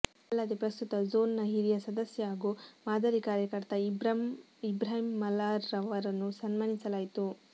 ಅಲ್ಲದೆ ಪ್ರಸ್ತುತ ಝೋನ್ ನ ಹಿರಿಯ ಸದಸ್ಯ ಹಾಗೂ ಮಾದರಿ ಕಾರ್ಯಕರ್ತ ಇಬ್ರಾಹಿಂ ಮಲಾರ್ ರವರನ್ನು ಸನ್ಮಾನಿಸಲಾಯಿತು